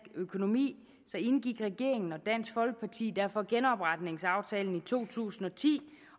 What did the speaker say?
økonomi indgik regeringen og dansk folkeparti derfor genopretningsaftalen i to tusind og ti